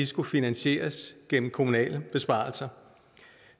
skulle finansieres gennem kommunale besparelser